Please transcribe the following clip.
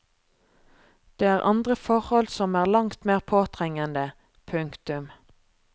Det er andre forhold som er langt mer påtrengende. punktum